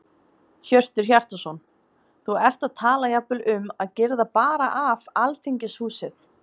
Hjörtur Hjartarson: Þú ert að tala jafnvel um að girða bara af Alþingishúsið?